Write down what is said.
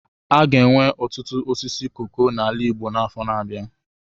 A ga-enwe ọtụtụ osisi koko n'ala Igbo n'afọ na-abịa.